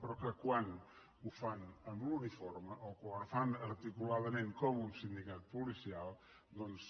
però que quan ho fan amb l’uniforme o quan ho fan articuladament com un sindicat policial doncs